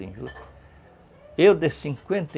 Eu, de cinquenta e